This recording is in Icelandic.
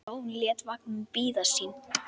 Jón lét vagninn bíða sín.